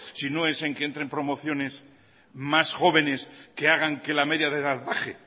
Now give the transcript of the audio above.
si no es en que entren promociones más jóvenes que hagan que la media de edad bajen